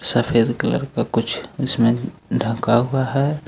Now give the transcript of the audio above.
सफेद कलर का कुछ इसमें ढका हुआ है।